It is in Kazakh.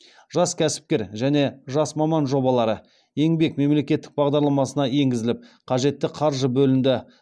жас кәсіпкер және жас маман жобалары еңбек мемлекеттік бағдарламасына енгізіліп қажетті қаржы бөлінді